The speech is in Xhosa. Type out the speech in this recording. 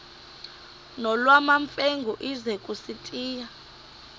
nolwamamfengu ize kusitiya